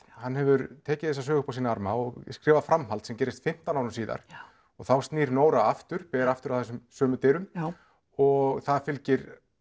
hann hefur tekið þessa sögu upp á sína arma og skrifað framhald sem gerist fimmtán árum síðar og þá snýr Nóra aftur ber aftur að þessum sömu dyrum og það fylgir